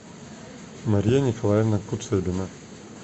мария николаевна куцебина